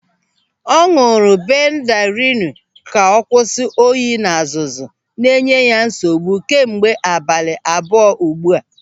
Ọ ñụ̀rụ̀ bendarilu ka ọ kwụsị oyi na azụzụ na enye ya nsogbu kemgbe abalị abụọ ugbu a.